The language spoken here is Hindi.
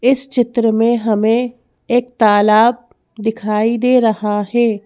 इस चित्र में हमें एक तालाब दिखाई दे रहा है।